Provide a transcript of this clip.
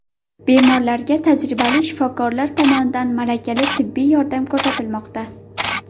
Bemorlarga tajribali shifokorlar tomonidan malakali tibbiy yordam ko‘rsatilmoqda.